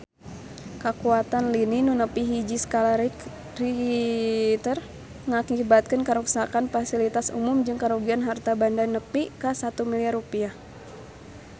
Kakuatan lini nu nepi hiji skala Richter ngakibatkeun karuksakan pasilitas umum jeung karugian harta banda nepi ka 1 miliar rupiah